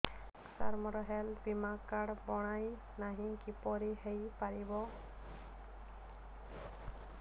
ସାର ମୋର ହେଲ୍ଥ ବୀମା କାର୍ଡ ବଣାଇନାହିଁ କିପରି ହୈ ପାରିବ